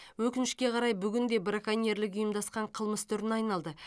өкінішке қарай бүгін де браконьерлік ұйымдасқан қылмыс түріне айналды